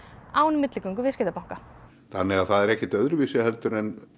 án milligöngu viðskiptabanka þannig það er ekkert öðruvísi en